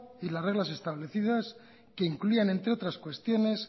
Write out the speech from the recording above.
y las reglas establecidas que incluían entre otras cuestiones